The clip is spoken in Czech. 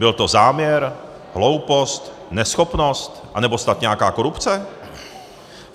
Byl to záměr, hloupost, neschopnost, anebo snad nějaká korupce?